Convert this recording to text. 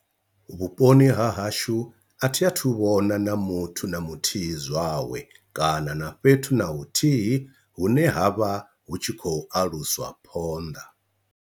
Vhuponi ha hashu a thi a thu vhona na muthu na muthihi zwawe kana na fhethu na huthihi hune ha vha hu tshi khou aluswa phonḓa.